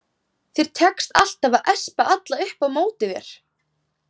Þér tekst alltaf að espa alla upp á móti þér